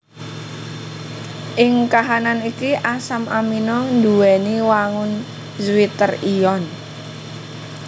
Ing kahanan iki asam amino nduwèni wangun zwitter ion